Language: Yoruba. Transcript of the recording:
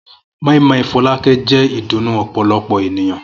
moin-moin Fọlákẹ́ jẹ́ ìdùnnú ọ̀pọ̀lọpọ̀ ènìyàn.